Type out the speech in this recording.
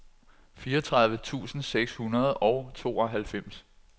fireogtredive tusind seks hundrede og tooghalvfems